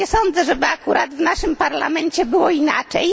Nie sądzę, żeby akurat w naszym Parlamencie było inaczej.